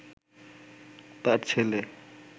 তাঁর ছেলে